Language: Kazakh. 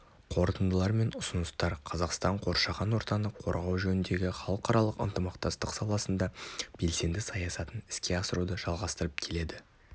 қорытындылар мен ұсыныстар қазақстан қоршаған ортаны қорғау жөніндегі халықаралық ынтымақтастық саласында белсенді саясатын іске асыруды жалғастырып келеді